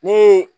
Ni